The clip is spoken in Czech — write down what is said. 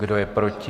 Kdo je proti?